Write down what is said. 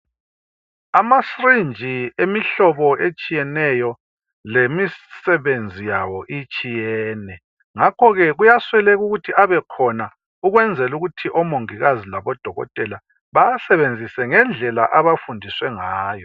Amasyringe emihlobo etshiyeneyo lemisebenzi yawo itshiyene. Ngakho ke kuyasweleka ukuthi abekhona ukwenzela ukuthi oMongikazi labo Dokotela bawasebenzise ngendlela abafundiswe ngayo.